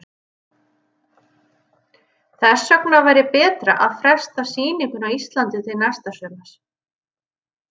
Þess vegna væri betra að fresta sýningu á Íslandi til næsta sumars.